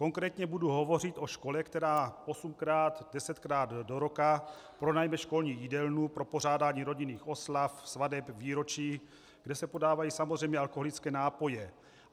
Konkrétně budu hovořit o škole, která osmkrát desetkrát do roka pronajme školní jídelnu pro pořádání rodinných oslav, svateb, výročí, kde se podávají samozřejmě alkoholické nápoje.